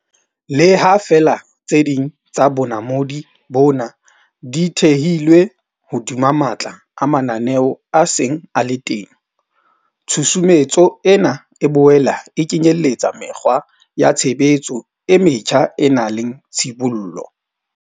Le ha feela tse ding tsa bonamodi bona di thehilwe hodima matla a mananeo a seng a le teng, tshusumetso ena e boela e kenyeletsa mekgwa ya tshebetso e metjha e nang le tshibollo.